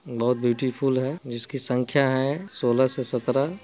बोहोत ब्यूटीफुल है जिसकी संख्या हैं सोलह से सतरह |